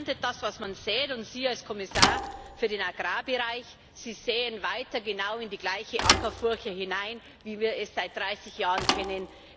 Man erntet das, was man sät. Und Sie als Kommissar für den Agrarbereich säen weiter genau in die gleiche Ackerfurche hinein, wie wir es seit dreißig Jahren kennen.